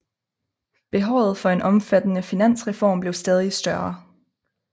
Behovet for en omfattende finansreform blev stadig større